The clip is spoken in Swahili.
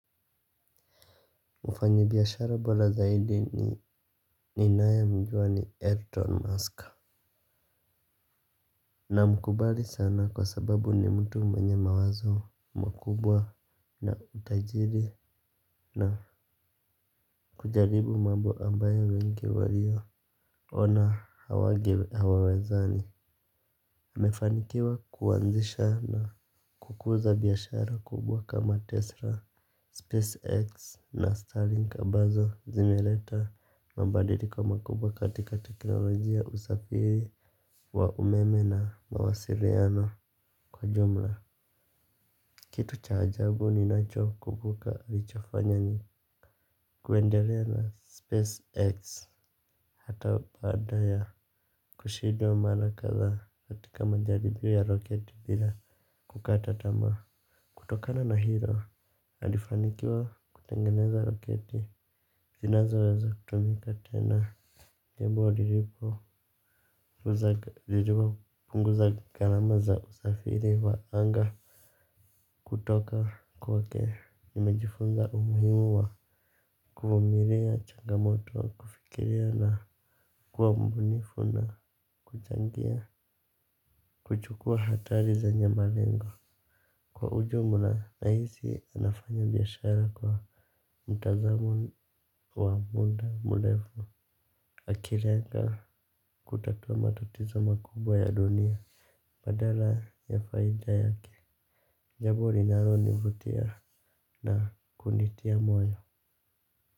Mufanyi biashara bora zaidi ninaye mjua ni Elon Musk. Na mkubali sana kwa sababu ni mtu mwenye mawazo makubwa na utajiri na kujaribu mambo ambayo wengi waliona hawange hawawezani. Amefanikiwa kuwanzisha na kukuza biashara kubwa kama Tesla, SpaceX na Starlink ambazo zimileta mabadiliko makubwa katika teknolojia usafiri wa umeme na mawasiliano kwa jumla. Kitu cha ajabu ni nacho kumbuka nilichofanya ni kuendelea na spacex hata baada ya kushindwa mara kadhaa katika majaribio ya roketi bila kukata tamaa. Kutokana na ilo nalifanikiwa kutengeneza roketi zinazoweza kutumika tena Nyebo diripo Ziduwa punguza karama za uzafiri wa anga. Kutoka kwake nimejifunga umuhimu wa kuvumilia changamoto, kufikiria na kuwa mbunifu na kuchangia. Kuchukua hatari zenye malengo. Kwa ujumla, nahisi unafanya biashara kwa mtazamo wa muda mrefu. Akilenga kutatua matatizo makubwa ya dunia badala ya faida yake jambo linalonivutia na kunitia moyo.